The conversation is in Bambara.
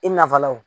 I nafala wo